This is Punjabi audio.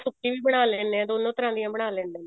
ਸੁੱਕੀ ਵੀ ਬਣਾ ਲੈਣੇ ਹਾਂ ਦੋਨੋ ਤਰ੍ਹਾਂ ਦੀ ਬਣਾ ਲੈਂਦੇ ਹਾਂ